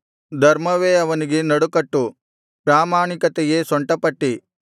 ಧರ್ಮವೇ ಅವನಿಗೆ ನಡುಕಟ್ಟು ಪ್ರಾಮಾಣಿಕತೆಯೇ ಸೊಂಟಪಟ್ಟಿ